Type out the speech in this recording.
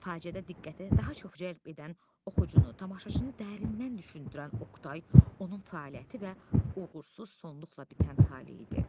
Faciədə diqqəti daha çox cəlb edən, oxucunu, tamaşaçını dərindən düşündürən Oqtay, onun fəaliyyəti və uğursuz sonluqla bitən taleyi idi.